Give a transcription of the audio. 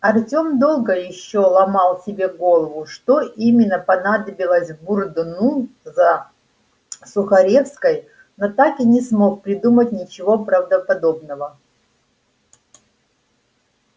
артем долго ещё ломал себе голову что именно понадобилось бурбону за сухаревской но так и не смог придумать ничего правдоподобного